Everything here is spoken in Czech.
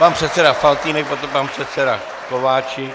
Pan předseda Faltýnek, potom pan předseda Kováčik.